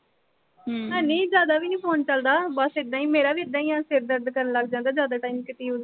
ਹਾਂ, ਨਈਂ ਜ਼ਿਆਦਾ ਵੀ ਨੀਂ phone ਚਲਦਾ। ਬਸ ਏਦਾਂ ਈ, ਮੇਰਾ ਵੀ ਏਦਾਂ ਈ ਆ, ਸਿਰ ਦਰਦ ਕਰਨ ਲੱਗ ਜਾਂਦਾ ਜ਼ਿਆਦਾ time use ਕਰਲਾਂ ਤੇ।